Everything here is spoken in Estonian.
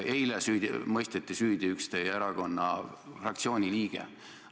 Eile mõisteti süüdi üks teie erakonna fraktsiooni liikmeid.